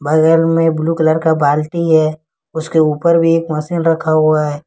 बगल में blue colour का बाल्टी है उसके ऊपर भी एक मशीन रखा हुआ है।